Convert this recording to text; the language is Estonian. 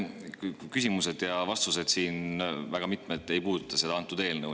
Väga mitmed küsimused ja vastused siin ei puuduta seda eelnõu.